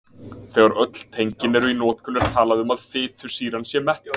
Þegar öll tengin eru í notkun er talað um að fitusýran sé mettuð.